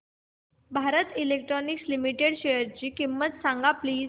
Bharat electronics limited शेअरची किंमत सांगा प्लीज